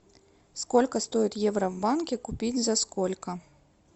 сколько стоит евро в банке купить за сколько